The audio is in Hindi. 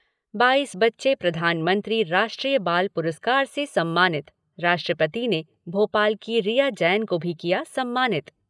बाईस बच्चे प्रधानमंत्री राष्ट्रीय बाल पुरस्कार से सम्मानित, राष्ट्रपति ने भोपाल की रिया जैन को भी किया सम्मानित।